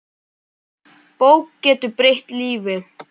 Bók getur breytt lífi.